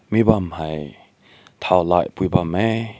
ni bam hai tao li bam heh.